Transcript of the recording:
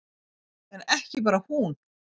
En ekki bara hún.